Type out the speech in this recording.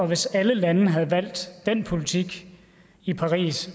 hvis alle lande havde valgt den politik i paris